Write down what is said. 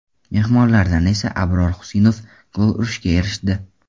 Mehmonlardan esa Abror Xusinov gol urishga erishdi.